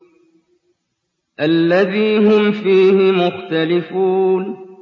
الَّذِي هُمْ فِيهِ مُخْتَلِفُونَ